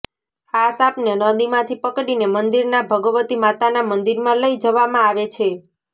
આ સાપને નદીમાંથી પકડીને મંદીરના ભગવતી માતાના મંદીરમાં લઈ જવામાં આવે છે